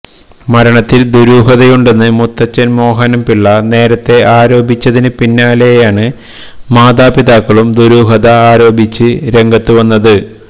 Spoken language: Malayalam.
മരണത്തില് ദുരൂഹതയുണ്ടെന്ന് മുത്തച്ഛന് മോഹനന്പിള്ള നേരത്തെ ആരോപിച്ചതിന് പിന്നാലെയാണ് മാതാപിതാക്കളും ദുരൂഹത ആരോപിച്ച് രംഗത്തുവന്നത്